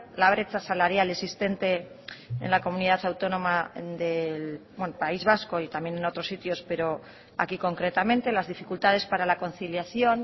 la brecha salarial existente en la comunidad autónoma del país vasco y también en otros sitios pero aquí concretamente las dificultades para la conciliación